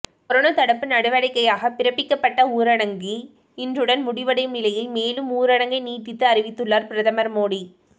corona தடுப்பு நடவடிக்கையாக பிறப்பிக்கப்பட்ட ஊரடங்கி இன்றுடன் முடிவடையும் நிலையில் மேலும் ஊரடங்கை நீட்டித்து அறிவித்துள்ளார் பிரதமர் மோடி